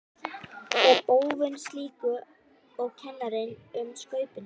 Er óvön slíku og kennir um Skaupinu.